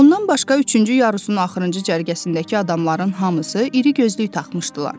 Ondan başqa üçüncü yarısının axırıncı cərgəsindəki adamların hamısı irigözlük taxmışdılar.